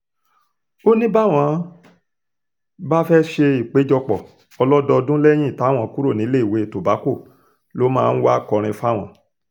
ọ̀kan nínú àwọn akẹ́kọ̀ọ́ akẹ́kọ̀ọ́ ọdún nineteen eighty-five sí eighty-six [cs[ náà ni olóògbé tobacco